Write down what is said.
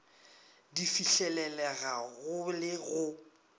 di fihlelelega go le go